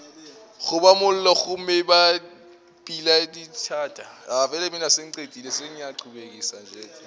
goba mollo gomme ba pelodithata